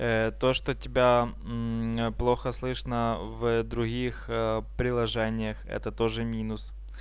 то что тебя плохо слышно в других приложениях это тоже минус